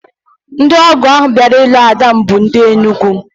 Ndị ọgọ ahụ bịara ilu ada m bụ ndị Enugwu